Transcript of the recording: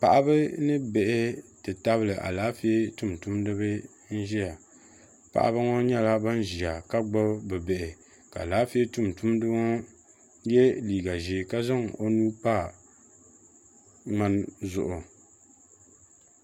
Paɣaba ni bihi ti tabili alaafee tumtumdiba n ziya paɣaba ŋɔ nyɛla bini ziya ka gbubi bi' bihi ka alaafee tumtumdiba ŋɔ ye liiga zɛɛ ka zaŋ o nuu pa mŋani zuɣu.